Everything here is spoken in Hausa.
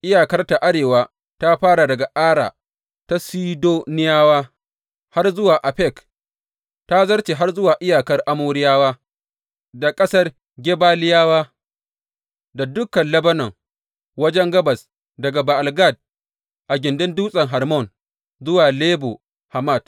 Iyakarta a arewa ta fara daga Ara ta Sidoniyawa har zuwa Afek, ta zarce har zuwa iyakar Amoriyawa; da ƙasar Gebaliyawa; da dukan Lebanon wajen gabas daga Ba’al Gad a gindin Dutsen Hermon zuwa Lebo Hamat.